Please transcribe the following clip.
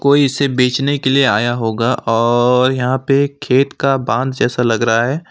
कोई इसे बेचने के लिए आया होगा और यहां पे खेत का बांध जैसा लग रहा है।